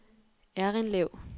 Errindlev